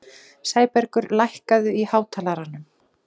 Sæbergur, lækkaðu í hátalaranum.